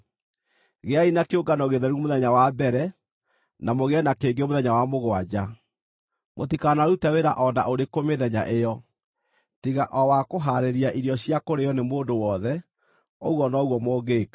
Gĩai na kĩũngano gĩtheru mũthenya wa mbere, na mũgĩe na kĩngĩ mũthenya wa mũgwanja. Mũtikanarute wĩra o na ũrĩkũ mĩthenya ĩyo, tiga o wa kũhaarĩria irio cia kũrĩĩo nĩ mũndũ wothe, ũguo noguo mũngĩĩka.